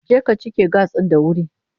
Je ka cike gas ɗin da wuri!